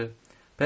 Çox yaxşı.